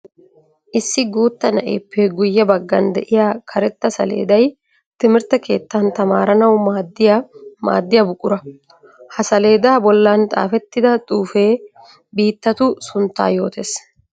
Issi guutta na'eppe guye bagan de'iya karetta saleeday timirtte keettan tamaranwu maadiya maadiya buqura. Ha saleeda bollan xaafetidda xuufe biittatu suntta yootees.